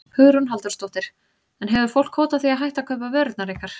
Hugrún Halldórsdóttir: En hefur fólk hótað því að hætta að kaupa vörurnar ykkar?